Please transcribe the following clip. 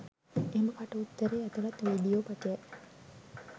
එම කට උත්තරය ඇතුළත් වීඩීයෝ පටය